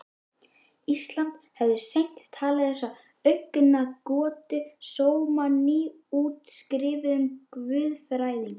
Íslands hefðu seint talið þessar augnagotur sóma nýútskrifuðum guðfræðingi.